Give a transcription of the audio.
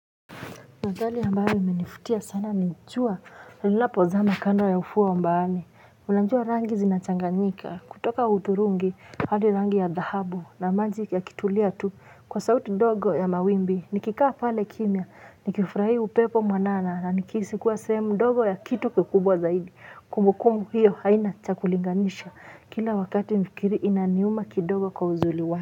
Wadhali ambayo imenifutia sana nchua lilapo zama kando ya ufuwa mbaani unachua rangi zinachanganyika kutoka uturungi hali rangi ya dhahabu na manji ya kitulia tu kwa sauti dogo ya mawimbi nikikaa pale kimia nikifurahi upepo mwanana na nikisikuwa semu dogo ya kitu kukubwa zaidi kumbukumu hiyo haina cha kulinganisha kila wakati mfikiri inaniuma kidogo kwa uzuri wa.